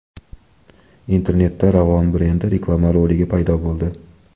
Internetda Ravon brendi reklama roligi paydo bo‘ldi .